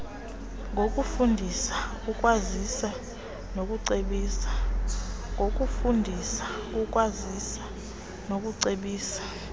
ngokufundisa ukwazisa nokucebisa